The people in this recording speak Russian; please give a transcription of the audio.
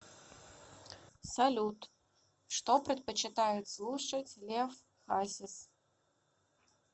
салют что предпочитает слушать лев хасис